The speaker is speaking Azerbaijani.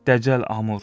dəcəl Amur!